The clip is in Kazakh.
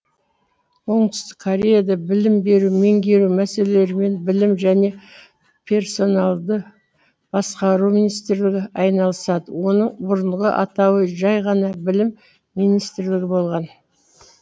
оңтүстік кореяда білім беру меңгеру мәселелерімен білім және персоналды басқару министрлігі айналысады оның бұрынғы атауы жай ғана білім министрлігі болған